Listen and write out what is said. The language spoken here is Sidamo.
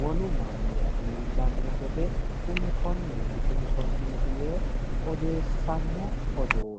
wolu mannira ikko iillano gede kuni konneti kuni konneti yee odeessano odoo